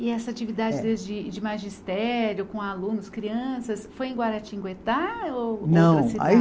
E essa atividade de de magistério, com alunos, crianças, foi em Guaratinguetá ou